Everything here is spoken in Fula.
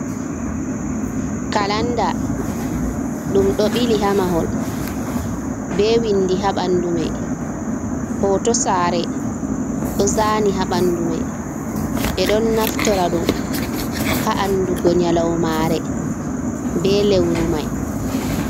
Kalanda ɗum ɗo bili haa mahol bee winndi haa ɓanndu may, hooto saare ɗo zaani haa ɓanndu may, ɓe ɗon naftora ɗum haa andugo nyalawmaare, bee lewru may.